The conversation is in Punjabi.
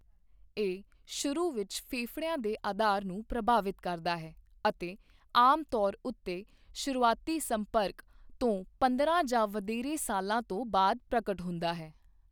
ਇਹ ਸ਼ੁਰੂ ਵਿੱਚ ਫੇਫੜਿਆਂ ਦੇ ਅਧਾਰ ਨੂੰ ਪ੍ਰਭਾਵਿਤ ਕਰਦਾ ਹੈ ਅਤੇ ਆਮ ਤੌਰ ਉੱਤੇ ਸ਼ੁਰੂਆਤੀ ਸੰਪਰਕ ਤੋਂ ਪੰਦਰਾਂ ਜਾਂ ਵਧੇਰੇ ਸਾਲਾਂ ਤੋਂ ਬਾਅਦ ਪ੍ਰਗਟ ਹੁੰਦਾ ਹੈ।